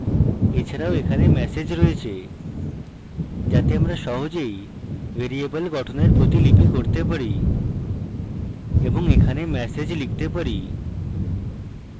এছাড়াও এখানে message রয়েছে যাতে আমরা সহজেই ভ্যারিয়েবল গঠনের প্রতিলিপি করতে পারি এবং এখানে message লিখতে পারি